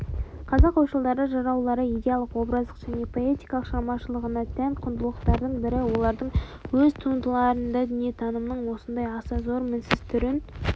қазақ ойшылдары жыраулары идеялық-образдық және поэтикалық шығармашылығына тән құндылықтардың бірі олардың өз туындыларында дүниетанымның осындай аса зор мінсіз түрін